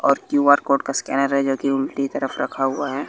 और Q R code scanner है जो की उल्टी तरफ रखा हुआ है।